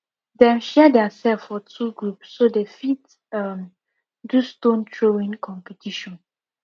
dem share their self for two group so they fit um do stone throwing competition